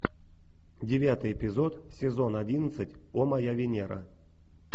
девятый эпизод сезон одиннадцать о моя венера